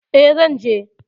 E, zan je.